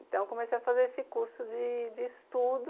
Então comecei a fazer esse curso de de estudo.